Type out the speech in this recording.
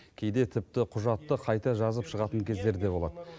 кейде тіпті құжатты қайта жазып шығатын кездері де болады